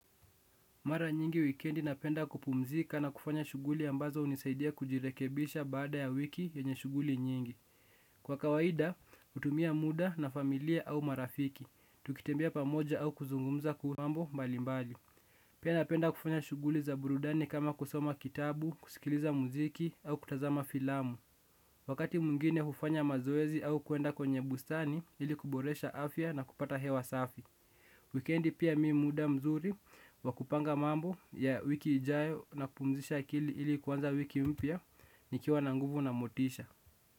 Mara nyingi wikendi napenda kupumzika na kufanya shughuli ambazo unisaidia kujirekebisha baada ya wiki yenye shughuli nyingi. Kwa kawaida, hutumia muda na familia au marafiki. Tukitembea pamoja au kuzungumza kuhu mambo mbali mbali. Pia napenda kufanya shughuli za burudani kama kusoma kitabu, kusikiliza muziki au kutazama filamu. Wakati mwingine hufanya mazoezi au kwenda kwenye bustani ili kuboresha afya na kupata hewa safi. Wikendi pia mi muda mzuri wa kupanga mambo ya wiki ijayo na kupumzisha akili ili kuanza wiki mpya nikiwa na nguvu na motisha.